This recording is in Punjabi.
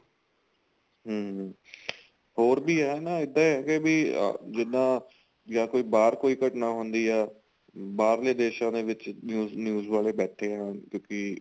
ਹਮ ਹੋਰ ਵੀ ਏ ਨਾ ਇੱਦਾਂ ਇਹ ਬੀ ਜਿਦਾਂ ਜਾਨ ਕੋਈ ਬਾਹਰ ਕੋਈ ਘਟਣਾ ਹੁੰਦੀ ਏ ਬਾਹਰਲੇ ਦੇਸ਼ਾ ਦੇ ਵਿੱਚ news ਵਾਲੇ ਬੈਠੇ ਏ ਕਿਉਂਕਿ